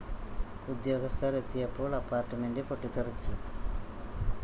ഉദ്യോഗസ്ഥർ എത്തിയപ്പോൾ അപ്പാർട്ട്മെൻ്റ് പൊട്ടിത്തെറിച്ചു